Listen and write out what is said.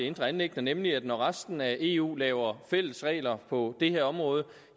indre anliggender nemlig at når resten af eu laver fælles regler på det her område